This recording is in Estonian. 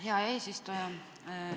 Hea eesistuja!